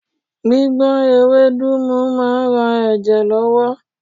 Gbígbọ́n ewédú mu máa ń ran ẹ̀jẹ̀ lọ́wọ́.